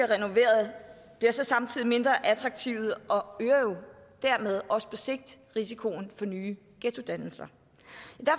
renoveret bliver så samtidig mindre attraktive og det øger jo dermed også på sigt risikoen for nye ghettodannelser jeg